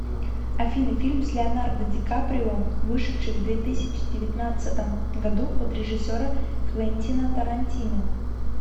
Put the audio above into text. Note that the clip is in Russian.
афина фильм с леонардо ди каприон вышедший в две тысячи девятнадцатом году от режиссера квентина тарантино